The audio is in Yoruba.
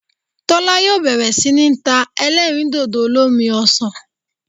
Tólá yóò bèrè sí ní ta elérìndòdò olómi osàn